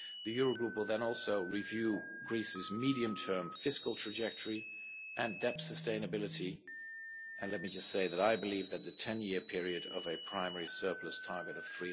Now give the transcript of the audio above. The Eurogroup will then also review Greece's medium-term fiscal trajectory and debt sustainability, and let me just say that I believe that the ten year period of a primary surplus target of